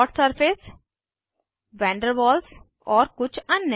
dot surface van der Waals और कुछ अन्य